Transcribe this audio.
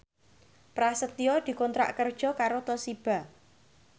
Prasetyo dikontrak kerja karo Toshiba